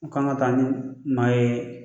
u kan ka taa ni maa ye